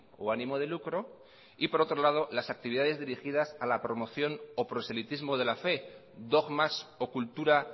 o ánimo de lucro y por otro lado las actividades dirigidas a la promoción o proselitismo de la fe dogmas o cultura